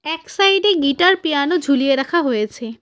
এক সাইড -এ guitar piano ঝুলিয়ে রাখা হয়েছে।